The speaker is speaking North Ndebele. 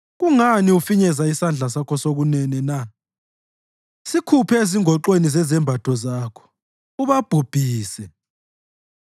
Kungani ufinyeza isandla sakho sokunene na? Sikhuphe ezingoxweni zezembatho zakho ubabhubhise.